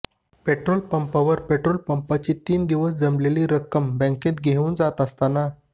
petrol पंपावर petrol पंपाची तीन दिवस जमलेली रक्कम बँकेत घेऊन जात असताना